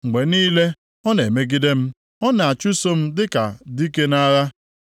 Mgbe niile, ọ na-emegide m; ọ na-achụso m dịka dike nʼagha.